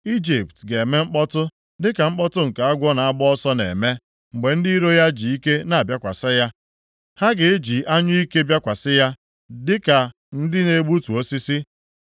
Ijipt ga-eme mkpọtụ, dịka mkpọtụ nke agwọ na-agba ọsọ na-eme, mgbe ndị iro ya ji ike na-abịakwasị ya. Ha ga-eji anyụike bịakwasị ya, dịka ndị na-egbutu osisi.